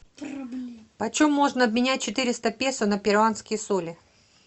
почем можно обменять четыреста песо на перуанские соли